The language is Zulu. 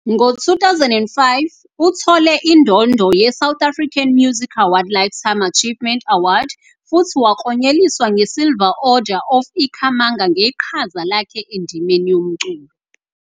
Ngo-2005, uthole indondo ye-South African Music Award Lifetime Achievement Award futhi waklonyeliswa ngeSilver Order of Ikhamanga ngeqhaza lakhe endimeni yomculo.